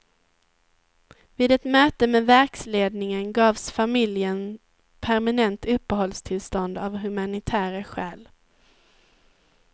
Vid ett möte med verksledningen gavs familjen permanent uppehållstillstånd av humanitära skäl.